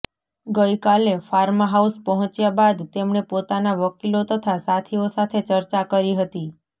ગઈ કાલે ફાર્મહાઉસ પહોંચ્યા બાદ તેમણે પોતાના વકીલો તથા સાથીઓ સાથે ચર્ચા કરી હતી